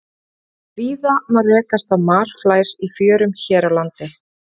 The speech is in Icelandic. Víða má rekast á marflær í fjörum hér á landi.